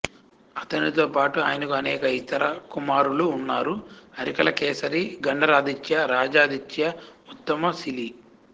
అతనితో పాటు ఆయనకు అనేక ఇతర కుమారులు ఉన్నారు అరికలకేసరి గండరాదిత్య రాజదిత్య ఉత్తమసిలి